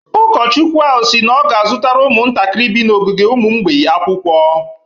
Ụkọchukwu ahụ si na ọ ga-azụtara ụmụntakịrị bi n’ogige ụmụ mgbei akwụkwọ.